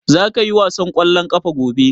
Za ka ƴi wasan kwallon ƙafa gobe?